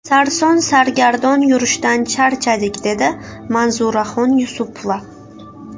Sarson-sargardon yurishdan charchadik, dedi Manzuraxon Yusupova.